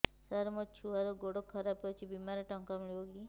ସାର ମୋର ଛୁଆର ଗୋଡ ଖରାପ ଅଛି ବିମାରେ ଟଙ୍କା ମିଳିବ କି